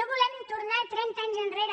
no volem tornar trenta anys enrere